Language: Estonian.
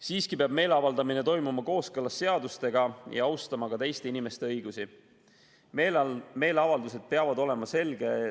Siiski peab meeleavaldamine toimuma kooskõlas seadustega ja ka teiste inimeste õigusi austades.